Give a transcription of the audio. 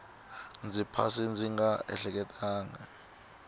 ndzi phasa ndzi nga ehleketangi